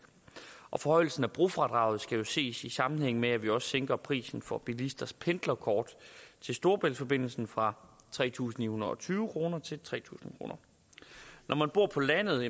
og forhøjelsen af brofradraget skal jo ses i sammenhæng med at vi også sænker prisen for bilisters pendlerkort til storebæltsforbindelsen fra tre tusind ni hundrede og tyve kroner til tre tusind kroner når man bor på landet